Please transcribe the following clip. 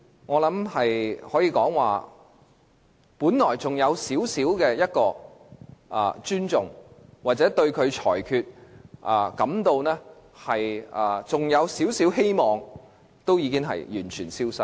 我可以說句，我本來對主席還有一點尊重，對他改變裁決還心存希望，但現在已完全消失。